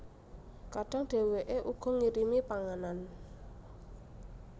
Kadang dhèwèké uga ngirimi panganan